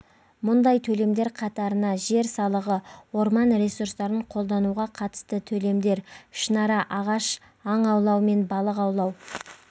мұндай төлемдер қатарына жер салығы орман ресурстарын қолдануға қатысты төлемдер ішінара ағаш аң аулау мен балық аулау